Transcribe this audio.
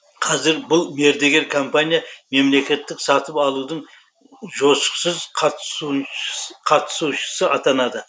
қазір бұл мердігер компания мемлекеттік сатып алудың жозықсыз қатысушысы атанады